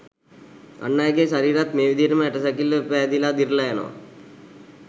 අන්අයගේ ශරීරත් මේ විදිහටම ඇටසැකිල්ල පෑදිලා දිරලා යනවා